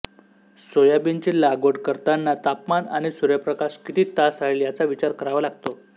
सोयाबीनची लागवड करतांना तापमान आणि सूर्यप्रकाश किती तास राहील याचा विचार करावा लागतो